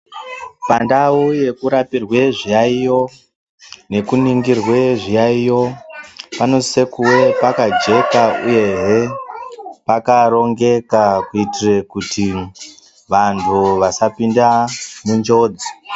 Pandau yekurapirwa zviyaiyo nekuningirwe zviyaiyo panosise kuwe pakageka uyehe pakarongoka kuitire kuti vantu vasapinda munjodzi.